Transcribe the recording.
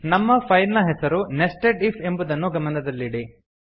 ನಮ್ಮ ಫೈಲ್ ನ ಹೆಸರು ನೆಸ್ಟೆಡ್ ಇಫ್ ಎಂಬುದನ್ನು ಗಮನದಲ್ಲಿಡಿ